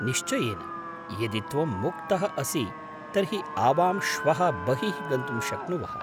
निश्चयेन, यदि त्वं मुक्तः असि तर्हि आवां श्वः बहिः गन्तुं शक्नुवः।